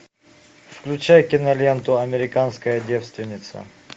включай киноленту американская девственница